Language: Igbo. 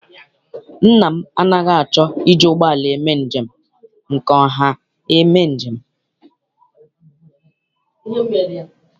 Nna m anaghị achọ iji ụgbọala njem nke ọha eme njem.